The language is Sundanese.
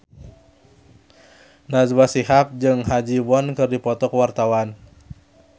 Najwa Shihab jeung Ha Ji Won keur dipoto ku wartawan